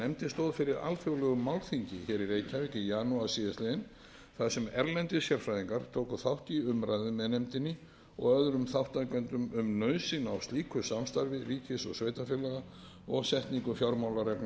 stóð fyrir alþjóðlegu málþingi hér í reykjavík í janúar síðastliðinn þar sem erlendir sérfræðingar tóku þátt í umræðum með nefndinni og öðrum þátttakendum um nauðsyn á slíku samstarfi ríkis og sveitarfélaga og setningu fjármálareglna fyrir sveitarfélög